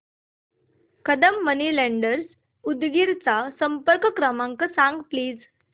Kadam money lenders Udgir चा संपर्क क्रमांक सांग प्लीज